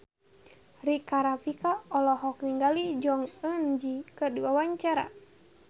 Rika Rafika olohok ningali Jong Eun Ji keur diwawancara